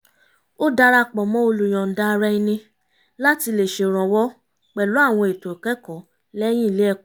ó dara pọ̀ mọ́ olùyọ̀nda-ara-ẹni láti lè ṣèrànwọ́ pẹ̀lú àwọn ètò ìkẹ́kọ̀ọ́ lẹ́yìn ilé ẹ̀kọ́